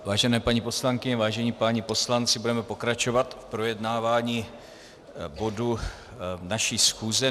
Vážené paní poslankyně, vážení páni poslanci, budeme pokračovat v projednávání bodů naší schůze.